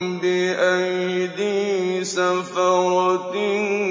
بِأَيْدِي سَفَرَةٍ